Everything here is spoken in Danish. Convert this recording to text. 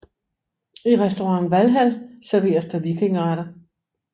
I Restaurant Valhall serveres der vikingeretter